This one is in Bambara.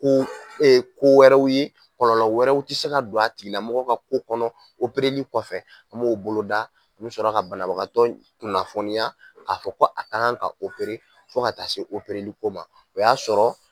Ko ko wɛrɛw ye kɔlɔlɔ wɛrɛw tɛ se ka don a tigi lamɔgɔ ka ko kɔnɔ kɔfɛ n m'o boloda, n mi sɔrɔ ka banabagatɔ in kunnafoniya k'a fɔ ko a ka kan ka fo ka taa se ko ma, o y'a sɔrɔ